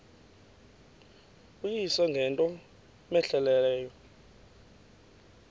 uyise ngento cmehleleyo